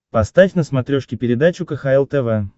поставь на смотрешке передачу кхл тв